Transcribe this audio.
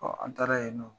an taara yen nɔ